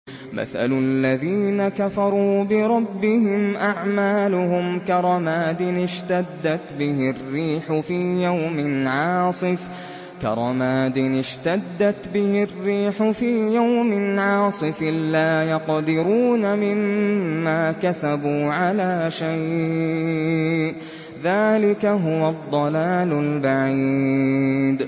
مَّثَلُ الَّذِينَ كَفَرُوا بِرَبِّهِمْ ۖ أَعْمَالُهُمْ كَرَمَادٍ اشْتَدَّتْ بِهِ الرِّيحُ فِي يَوْمٍ عَاصِفٍ ۖ لَّا يَقْدِرُونَ مِمَّا كَسَبُوا عَلَىٰ شَيْءٍ ۚ ذَٰلِكَ هُوَ الضَّلَالُ الْبَعِيدُ